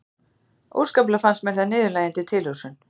Óskaplega fannst mér það niðurlægjandi tilhugsun.